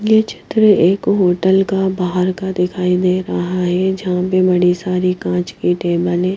यह चित्र एक होटल का बाहर का दिखाई दे रहा है जहां पर बड़ी सारी कांच पे टेबल है।